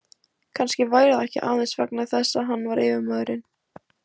Kannski væri það ekki aðeins vegna þess að hann var yfirmaðurinn.